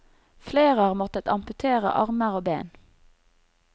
Flere har måttet amputere armer og ben.